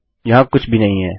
यहाँ कुछ भी नहीं है